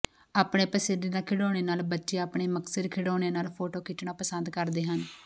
ਆਪਣੇ ਪਸੰਦੀਦਾ ਖਿਡੌਣੇ ਨਾਲ ਬੱਚੇ ਆਪਣੇ ਮਨਪਸੰਦ ਖਿਡੌਣਿਆਂ ਨਾਲ ਫੋਟੋ ਖਿੱਚਣਾ ਪਸੰਦ ਕਰਦੇ ਹਨ